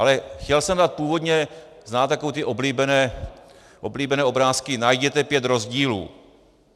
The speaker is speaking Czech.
Ale chtěl jsem dát původně - znáte takové ty oblíbené obrázky, najděte pět rozdílů.